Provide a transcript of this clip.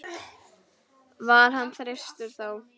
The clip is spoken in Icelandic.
var hann þyrstur þó.